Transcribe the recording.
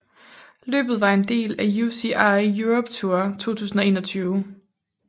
Løbet var en del af UCI Europe Tour 2021